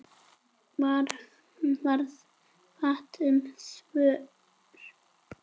Varð fátt um svör.